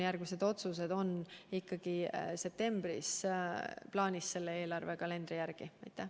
Järgmised otsused on septembris plaanis ikkagi selle eelarvekalendri järgi teha.